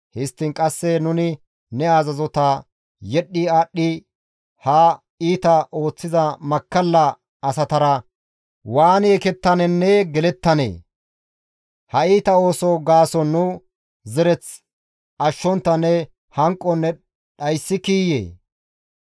Histtiin qasse nuni ne azazota yedhdhi aadhdhi ha iita ooththiza makkalla asatara waani ekettanenne gelettanee? Ha iita oosoza gaason nu zereth ashshontta ne hanqon ne dhayssikiiyee?